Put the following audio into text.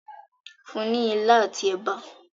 fún ní ila ati èbá.